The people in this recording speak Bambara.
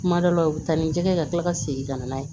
Kuma dɔ la u bɛ taa ni jɛgɛ ye ka tila ka segin ka na n'a ye